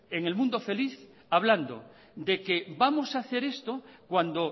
en el mundo feliz hablando de que vamos a hacer esto cuando